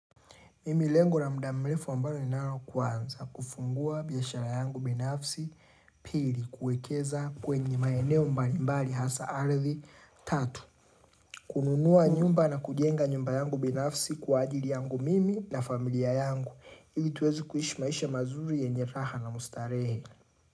Mimi lengo la muda mrefu ambalo ninalo kwanza kufungua biashara yangu binafsi pili kuekeza kwenye maeneo mbalimbali hasa ardhi tatu. Kununua nyumba na kujenga nyumba yangu binafsi kwa ajili yangu mimi na familia yangu. Ili tuweze kuishi maisha mazuri yenye raha na mustarehe.